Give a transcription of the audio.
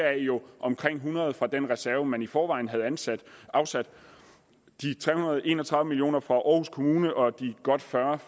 er jo omkring hundrede million kroner fra den reserve man i forvejen havde afsat afsat de tre hundrede og en og tredive million kroner fra aarhus kommune og de godt fyrre